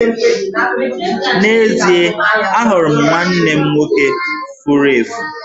N'ezie, ahụrụ m nwanne m nwoke furu efu.